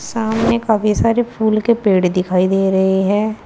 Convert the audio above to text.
सामने काफी सारे फूल के पेड़ दिखाई दे रहे हैं।